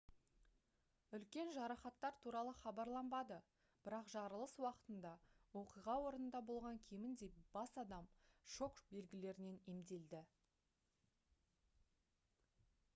үлкен жарақаттар туралы хабарланбады бірақ жарылыс уақытында оқиға орнында болған кемінде бас адам шок белгілерінен емделді